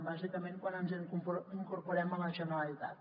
bàsicament quan ens hi incorporem a la generalitat